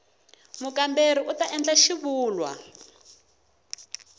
mukamberiwa u ta endla xivulwa